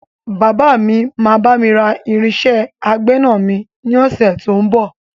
Bàbá mi máa bami ra irinsẹ́ àgbẹ̀na mi ni ọ̀sẹ̀ tó ń bọ̀.